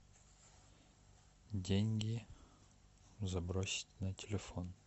деньги забросить на телефон